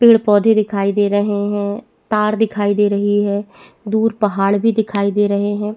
पेड़ पौधे दिखाई दे रहे है तार दिखाई दे रही है दूर पहाड़ भी दिखाई दे रहे है।